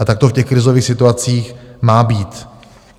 A tak to v těch krizových situacích má být.